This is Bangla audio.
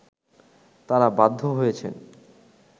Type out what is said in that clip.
তারা বাধ্য হয়েছেন